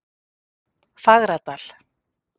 Fagradal